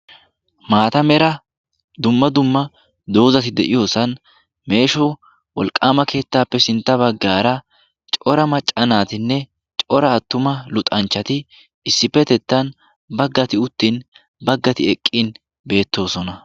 maata mera dumma dumma doozati de7iyoosan meesho wolqqaama keettaappe sintta baggaara cora maccanaatinne cora attuma luxanchchati issippetettan baggati uttin baggati eqqin beettoosona